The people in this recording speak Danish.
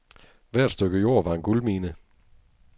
Hvert stykke jord var en guldmine.